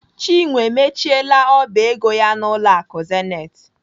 Chinwe emechiela ọba ego ya n'ụlọ akụ Zenith.